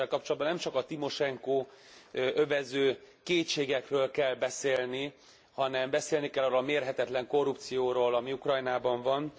És evvel kapcsolatban nem csak a Timosenkót övező kétségekről kell beszélni, hanem beszélni kell arról a mérhetetlen korrupcióról, ami Ukrajnában van.